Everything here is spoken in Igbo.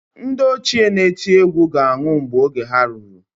Ndị ochie na-eti egwu ga-anwụ mgbe oge ha ruru.